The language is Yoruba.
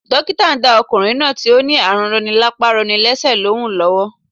Dókítà ndá okùnrin náà tí ó ní ààrù roni lápá roni lésè lóhùn lówó